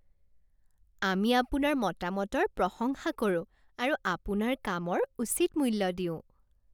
আমি আপোনাৰ মতামতৰ প্ৰশংসা কৰোঁ আৰু আপোনাৰ কামৰ উচিত মূল্য দিওঁ।